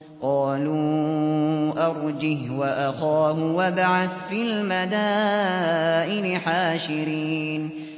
قَالُوا أَرْجِهْ وَأَخَاهُ وَابْعَثْ فِي الْمَدَائِنِ حَاشِرِينَ